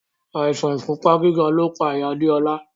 Àìsàn ìfúnpá gíga lo pa ìyá Adéọlá